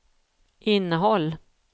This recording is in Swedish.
innehåll